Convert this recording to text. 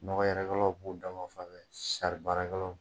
Nɔgɔ yɛrɛkɛlaw b'u dama fanfɛn, sari barakɛlaw